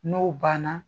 N'o banna